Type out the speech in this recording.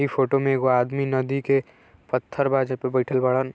इ फोटो में एगो आदमी नदी के पत्थर बा जेपर बइठल बाड़न |